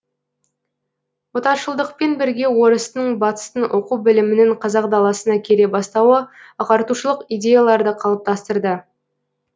отаршылдықпен бірге орыстың батыстың оқу білімінің қазақ даласына келе бастауы ағартушылық идеяларды қалыптастырды